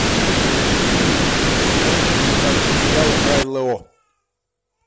новые документальные материалы про нло